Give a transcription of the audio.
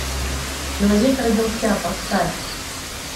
человек родился поставь